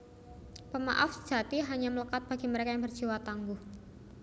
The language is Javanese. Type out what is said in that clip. Pemaaf sejati hanya melekat bagi mereka yang berjiwa tangguh